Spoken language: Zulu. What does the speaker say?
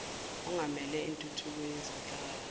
ongamele intuthuko yezenhlalakahle